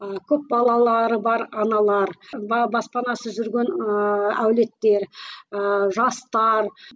ыыы көп балалары бар аналар баспанасыз жүрген ыыы әулеттер ыыы жастар